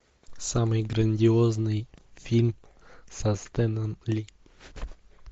самый грандиозный фильм со стэном ли